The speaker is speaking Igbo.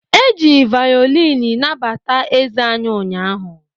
E ji vaolini nabata eze anyị ụnyaahụ.